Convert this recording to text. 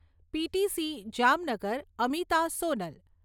PTC Jamnagar, Amita, Sonal